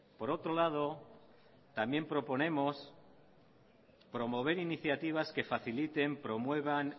por otro lado también proponemos promover iniciativas que faciliten promuevan